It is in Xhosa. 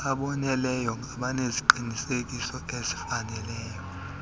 aboneleyo abaneziqinisekiso ezifaneleyo